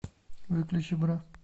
выключи бра